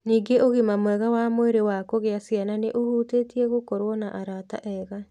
Ningĩ ũgima mwega wa mwĩrĩ wa kugĩa ciana nĩ ũhutĩtie gũkorũo na arata ega.